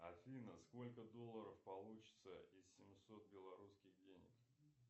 афина сколько долларов получится из семисот белорусских денег